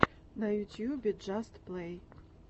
на ютубе джаст плэй